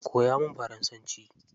Koya min faransanci.